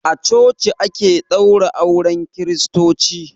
A coci ake ɗaura auren kristoci.